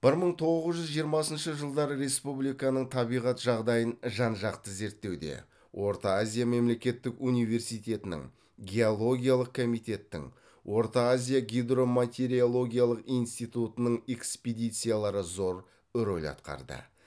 бір мың тоғыз жүз жиырмасыншы жылдарда республиканың табиғат жағдайын жан жақты зерттеуде орта азия мемлекеттік университетінің геологиялық комитеттің орта азия гидроматеорологиялық инстиутының экспедициялары зор роль атқарды